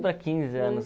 para quinze anos.